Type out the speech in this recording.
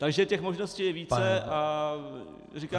Takže těch možností je více a říkám -